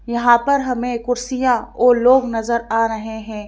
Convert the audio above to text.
यहां पर हमें कुर्सियां और लोग नजर आ रहे हैं।